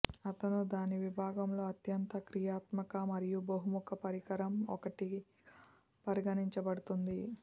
అతను దాని విభాగంలో అత్యంత క్రియాత్మక మరియు బహుముఖ పరికరం ఒకటిగా పరిగణించబడుతుంది